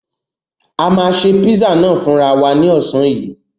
A máà ṣe pizza náà fúnra wa ní ọ̀sán yìí.